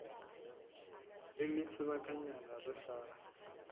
e le sebakanyana re sa